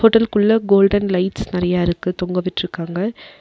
Hotel குள்ள golden lights நெறைய இருக்கு தொங்க விட்டுருக்காங்க.